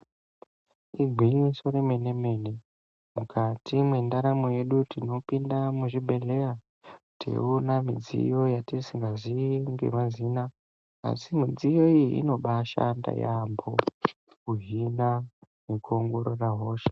Igwinyiso remene mene mukati mendaramo yedu tinopinda muzvibhedhlera teiona midziyo yatisingasivi ngemazina asi midziyo iyi inobashanda yambo kuzvina nekuongorora hosha.